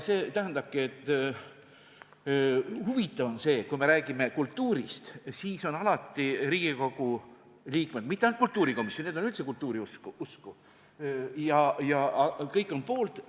Huvitav on see, et kui me räägime kultuurist, siis on Riigikogu liikmed – mitte ainult kultuurikomisjon, need on üldse kultuuriusku – alati kõik poolt.